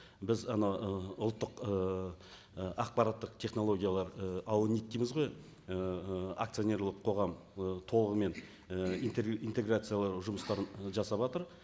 біз анау ы ұлттық ыыы ақпараттық технологиялар аунит дейміз ғой ііі акционерлік қоғам і толығымен і интеграциялау жұмыстарын ы жавасатыр